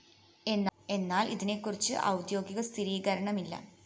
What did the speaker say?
എന്നാല്‍ ഇതിനെ കുറിച്ച് ഔദ്യോഗിക സ്ഥിരീകരണമില്ല